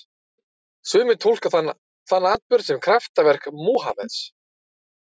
Sumir túlka þann atburð sem kraftaverk Múhameðs.